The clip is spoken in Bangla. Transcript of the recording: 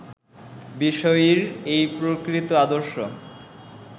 বিষয়ীর এই প্রকৃত আদর্শ